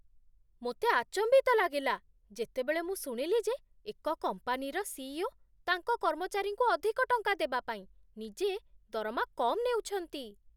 ମୋତେ ଆଚମ୍ବିତ ଲାଗିଲା, ଯେତେବେଳେ ମୁଁ ଶୁଣିଲି ଯେ ଏକ କମ୍ପାନୀର ସି.ଇ.ଓ. ତାଙ୍କ କର୍ମଚାରୀଙ୍କୁ ଅଧିକ ଟଙ୍କା ଦେବା ପାଇଁ ନିଜେ ଦରମା କମ୍ ନେଉଛନ୍ତି।